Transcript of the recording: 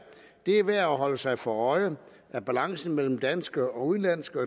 er værd at holde sig for øje at balancen mellem danske og udenlandske